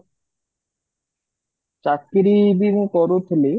ଚାକିରି ବି ମୁଁ କରୁଥିଲି